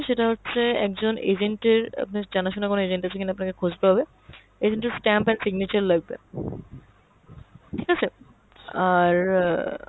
সেটা হচ্ছে একজন agent এর, আপনার জানা শোনা কোনো agent আছে কিনা আপনাকে খুঁজতে হবে। agent এর stamp আর signature লাগবে। ঠিক আছে? আর অ্যাঁ